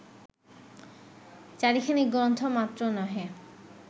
চারিখানি গ্রন্থ মাত্র নহে